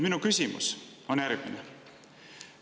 Minu küsimus on järgmine.